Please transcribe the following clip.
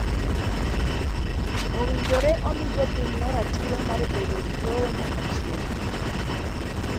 Owinjore omi jopinyno ratiro mar bedo gi lowo nyaka chieng’.